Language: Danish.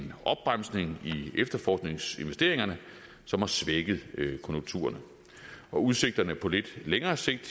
efterforskningsinvesteringerne som har svækket konjunkturerne og udsigterne på lidt længere sigt